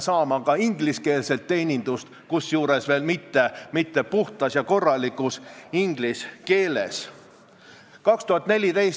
Täna ma olengi siia tulnud kujundlikult selle ettepanekuga, et ametnik saaks sotsiaalmeedias osaledes fikseerida õigusrikkumisi, aga mulle räägitakse vastu: ei, parem tegutsegu ametnik ikka väljaspool sotsiaalmeediat.